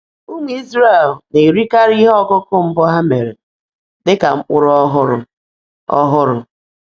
Ụmụ Izrel na-erikarị ihe ọkụkụ mbụ ha mere dị ka mkpụrụ ọhụrụ. ọhụrụ.